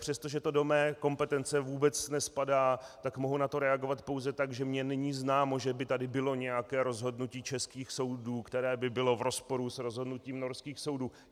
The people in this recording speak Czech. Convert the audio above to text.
Přestože to do mé kompetence vůbec nespadá, tak mohu na to reagovat pouze tak, že mně není známo, že by tady bylo nějaké rozhodnutí českých soudů, které by bylo v rozporu s rozhodnutím norských soudů.